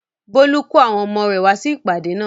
Bólú kó àwọn ọmọ rẹ̀ wá sí ìpàdé náà?